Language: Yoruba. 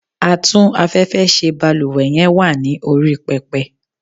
Atún afẹ́fẹ́ ṣe balúwẹ́ yen wa ni orí pepe